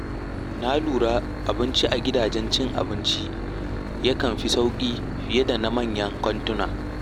Na lura abinci a gidajen cin abinci yakan fi sauƙi fiye da na manyan kantuna.